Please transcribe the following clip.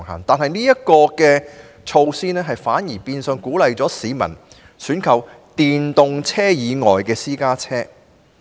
但是，這措施反而變相鼓勵市民選購電動私家車以外的私家車。